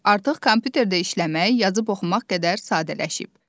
Artıq kompüterdə işləmək, yazıb oxumaq qədər sadələşib.